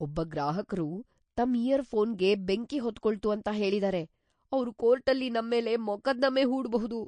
ಒಬ್ಬ ಗ್ರಾಹಕ್ರು ತಮ್ ಇಯರ್ ಫೋನ್‌ಗೆ ಬೆಂಕಿ ಹೊತ್ಕೊಳ್ತು ಅಂತ ಹೇಳಿದಾರೆ. ಅವ್ರು ಕೋರ್ಟಲ್ಲಿ ನಮ್ಮೇಲೆ ಮೊಕದ್ದಮೆ ಹೂಡ್ಬಹುದು.